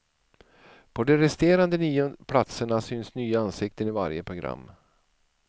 På de resterande nio platserna syns nya ansikten i varje program.